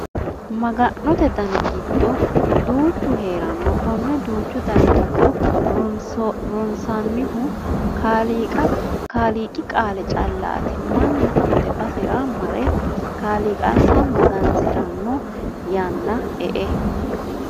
Maga'note dani duuchu heerano kone duuchu dani giddo ronsanihu kaaliiqi qaale callati mannu hate basera marre kaaliiqansa magansirano yanna e"e.